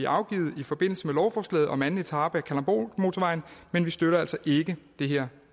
afgivet i forbindelse med lovforslaget om anden etape af kalundborgmotorvejen men vi støtter altså ikke det her